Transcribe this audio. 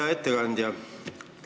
Hea ettekandja!